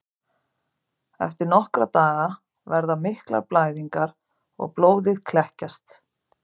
Eftir nokkra daga verða miklar blæðingar og blóðið kekkjast.